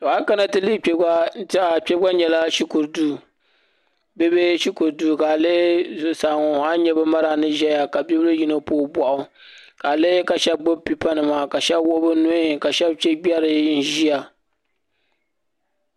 Tɔ ayi kana tilihi kpegba n tehiya kpegba nyela shukuru duu bibihi shukuru duu ka a lihiri zuɣusaa ŋɔ ani nya bɛ madam ni ʒɛya ka bibili yino ni puhi bohi o ka a lihi ka shebi gbibi pipa nima ka shebi wuɣi bɛ nuhi ka shebi chɛgberi n ʒia.